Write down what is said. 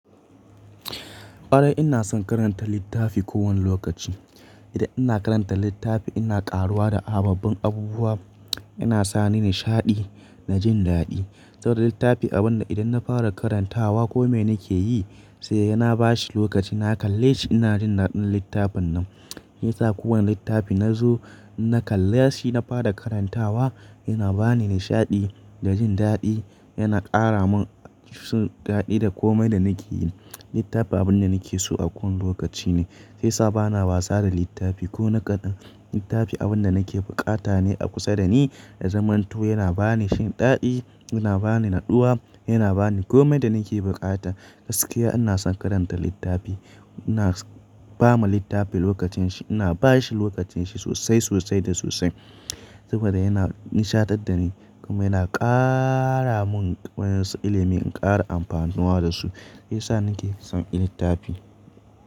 Kwarai ina son karanta littafi kowane lokaci. Idan ina karanta littafi ina ƙaruwa da ababbin abubuwa, yana sa ni nishaɗi na jin daɗi. Saboda littafi abun da idan na fara karantawa kome nake yi sai yana bashi lokaci na kalle shi, ina jin naɗin littafin nan. Yasa kowane littafi na zo na kalle shi, na fara karantawa yana ba ni nishaɗi da jin daɗi, yana ƙara min kisan daɗi da komai da nake yi. Littafi abun da nake so a kowane lokaci ne. Sai sa bana wasa da littafi ko naƙadai. Littafi abun da nake bukata ne a kusa da ni na zamanto, yana ba ni jin daɗi, yana ba ni natsuwa, yana ba ni komai da nake bukata. Gaskiya ina son karanta littafi. Ina ba ma littafin lokacin shi, ina ba shi lokacin shi sosai, sosai da sosai. Saboda yana nishaɗantar da ni kuma yana ƙara mun ƙwayar ilimi in ƙara amfanuwa da su. Shi ya sa nake son yin littafi.